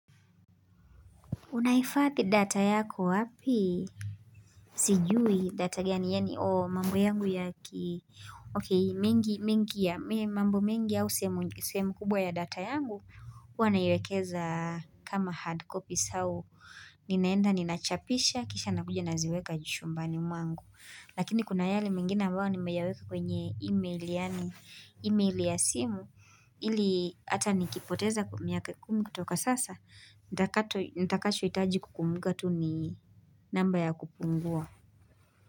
Unahifadhi data yako wapi? Sijui data gani, yaani o mambo yangu ya ki, okay, mengi mengi ya mambo miengi ya sehemu kubwa ya data yangu, huwa naiwekeza kama hard copies au, ninaenda, ninachapisha, kisha nakuja naziweka jumbani mwangu. Lakini kuna yale mengina ambayo nimeyaweka kwenye email yaani email ya simu ili ata nikipoteza miaka kumi kutoka sasa nitakatwa Nitakachoitaji kukumumbuka tu ni namba ya kupungua.